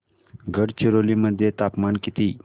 गडचिरोली मध्ये तापमान किती